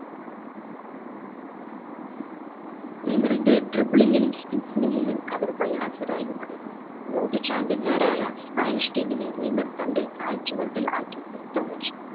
നെയ്മറിന്റെ dribbling ലും മുൻപിൽ അവർ പ്രയാസകരായ മടങ്ങി ലോക champion മാരായ സ്പാനിഷ് team നെ തന്റെ കാൽചൂട്ടിൽ ആക്കി നിർത്തം വെച്ചു